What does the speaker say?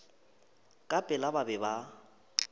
ka pela ba be ba